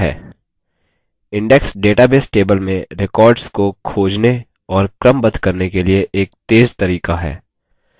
index database table में records को खोजने और क्रमबद्ध करने के लिए एक तेज़ तरीका है